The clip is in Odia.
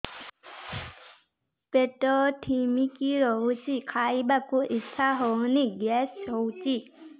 ପେଟ ଢିମିକି ରହୁଛି ଖାଇବାକୁ ଇଛା ହଉନି ଗ୍ୟାସ ହଉଚି